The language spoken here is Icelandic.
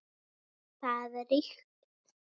Þar ríkti gleði.